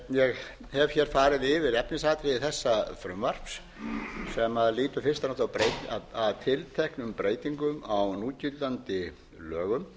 ég hef hér farið yfir efnisatriði eða frumvarps sem lýtur fyrst og fremst að tilteknum breytingum á núgildandi lögum